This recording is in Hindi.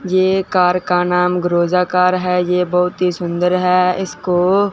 ये कार का नाम ग्रोजा कार है ये बहोत ही सुंदर है इसको--